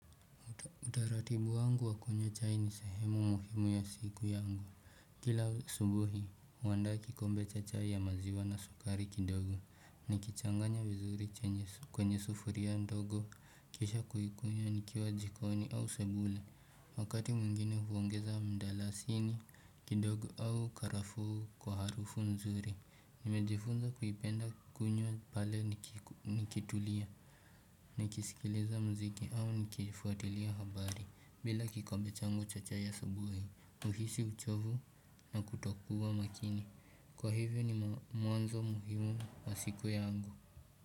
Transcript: Utaratibu wangu wa kunywa chai ni sehemu muhimu ya siku yangu. Kila asubuhi, huanda kikombe cha chai ya maziwa na sukari kidogo. Nikichanganya vizuri kwenye sufuria ndogo. Kisha kuikunywa nikiwa jikoni au sebule. Wakati mwingine huongeza mdalasini kidogo au karafu kwa harufu nzuri. Nimejifunza kuipenda kukunywa pale nikitulia. Nikisikiliza mziki au nikifuatilia habari. Bila kikombe changu cha chai asubuhi, uhishi uchovu na kutokuwa makini. Kwa hivyo ni mwanzo muhimu wa siku yangu.